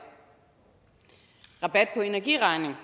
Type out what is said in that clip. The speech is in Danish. rabat på energiregningen